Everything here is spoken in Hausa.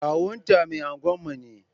Kawunta mai unguwa ne.